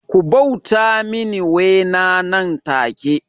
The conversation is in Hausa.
Ku bauta mini Wena nan take